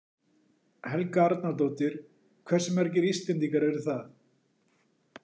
Helga Arnardóttir: Hversu margir Íslendingar eru það?